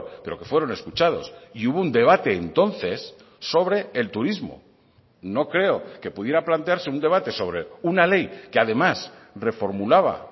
pero que fueron escuchados y hubo un debate entonces sobre el turismo no creo que pudiera plantearse un debate sobre una ley que además reformulaba